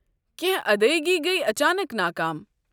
کینٛہہ ادایگی گیہِ اچانک ناکام؟